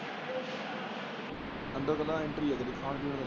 ਅੰਦਰ ਤੋਂ ਬਾਅਦ ਐਂਟਰੀ ਏ ਖਾਣ ਪੀਣ ਦਾ।